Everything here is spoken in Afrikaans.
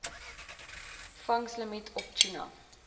vangslimiet op tuna